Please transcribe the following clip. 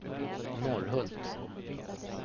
Norrhult